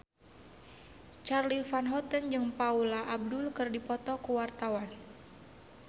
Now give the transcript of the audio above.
Charly Van Houten jeung Paula Abdul keur dipoto ku wartawan